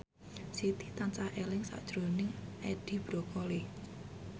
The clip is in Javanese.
Siti tansah eling sakjroning Edi Brokoli